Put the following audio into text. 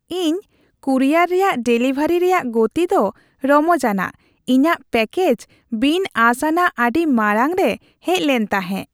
ᱤᱧ ᱠᱩᱨᱤᱭᱟᱨ ᱨᱮᱭᱟᱜ ᱰᱮᱞᱤᱵᱷᱟᱨᱤ ᱨᱮᱭᱟᱜ ᱜᱚᱛᱤ ᱫᱚ ᱨᱚᱢᱚᱡᱟᱱᱟᱜ ᱾ ᱤᱧᱟᱹᱜ ᱯᱮᱠᱮᱡᱽ ᱵᱤᱱ ᱟᱸᱥ ᱟᱱᱟᱜ ᱟᱹᱰᱤ ᱢᱟᱲᱟᱝ ᱨᱮ ᱦᱮᱡ ᱞᱮᱱ ᱛᱟᱦᱮᱸ ᱾